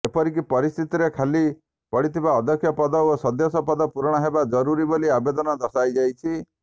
ଏପରି ପରିସ୍ଥିତିରେ ଖାଲି ପଡିଥିବା ଅଧ୍ୟକ୍ଷ ପଦ ଓ ସଦସ୍ୟ ପଦ ପୂରଣ ହେବା ଜରୁରୀ ବୋଲି ଆବେଦନରେ ଦର୍ଶାଯାଇଛି